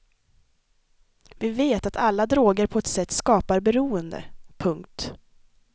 Vi vet att alla droger på ett sätt skapar beroende. punkt